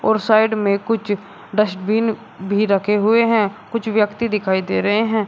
और साइड में कुछ डस्टबिन भी रखे हुए हैं कुछ व्यक्ति दिखाई दे रहे हैं।